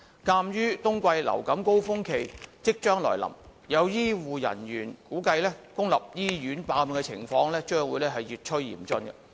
鑒於冬季流感高峰期即將來臨，有醫護人員估計公立醫院爆滿的情況將會越趨嚴峻。